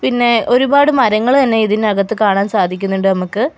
പിന്നെ ഒരുപാട് മരങ്ങള് തന്നെ ഇതിനകത്ത് കാണാൻ സാധിക്കുന്നുണ്ട് നമക്ക്.